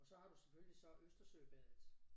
Så har du selvfølgelig så Østersøbadet